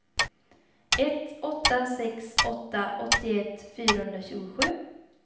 ett åtta sex åtta åttioett fyrahundratjugosju